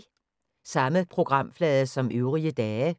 Samme programflade som øvrige dage